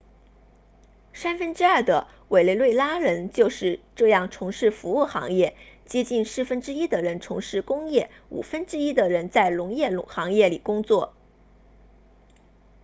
三分之二的委内瑞拉人就是这样从事服务行业接近四分之一的人从事工业五分之一的人在农业行业里工作